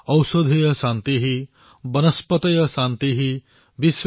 पृथिवी शान्तिः आपः शान्तिः औषधयः शान्तिः